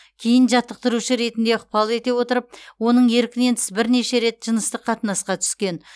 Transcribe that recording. кейін жаттықтырушы ретінде ықпал ете отырып оның еркінен тыс бірнеше рет жыныстық қатынасқа түскен